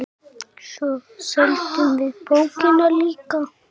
Svo seldum við bókina líka.